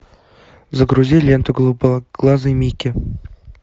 загрузи ленту голубоглазый микки